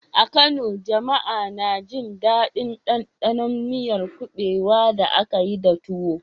A Kano, jama'a na jin daɗin ɗanɗanon miyar kubewa da aka yi da tuwo.